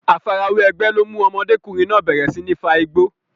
Àfarawé ẹgbẹ́ ló mú ọmọdékùnrin náà bẹ̀rẹ̀ sí ní fa igbó.